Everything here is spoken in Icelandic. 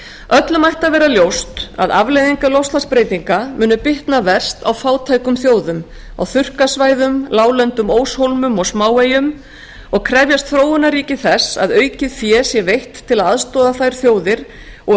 öllum ætti að vera ljóst að afleiðingar loftslagsbreytinga munu bitna verst á fátækum þjóðum á þurrkasvæðum láglendum óshólmum og smáeyjum og krefjast þróunarríki þess að aukið fé sé veitt til að aðstoða þær þjóðir og að þróuð